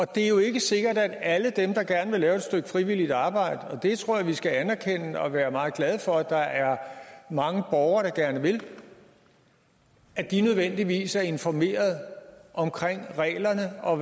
det er jo ikke sikkert at alle dem der gerne vil lave et stykke frivilligt arbejde og det tror jeg vi skal anerkende og være meget glade for at der er mange borgere der gerne vil nødvendigvis er informeret om reglerne og